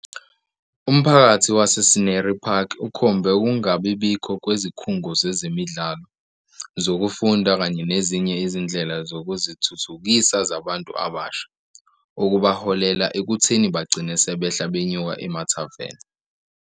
Umphakathi wase-Scenery Park ukhombe ukungabibikho kwezikhungo zezemidlalo, zokufunda kanye nezinye izindlela zokuzithuthukisa zabantu abasha, okubaholela ekutheni bagcine 'sebehla benyuka emathaveni'.